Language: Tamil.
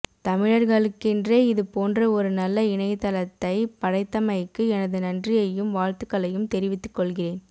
தமிழர்களுக்கென்றே இது போன்ற ஒரு நல்ல இணையதளத்தை படைத்தமைக்கு எனது நன்றியையும் வாழ்த்துக்களையும் தெரிவித்துக் கொள்கிறேன்